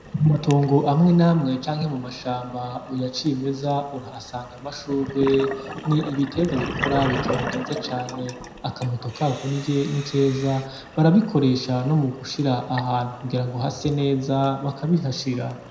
Mu matongo amwe n'amwe canke mu mashamba ya cimeza, urahasanga amashurwe. Ni ibiterwa bikura bikaba vyiza cane, akamoto kako ni keza, barabikoresha no mu gushira ahantu kugira hase neza, bakabishashira.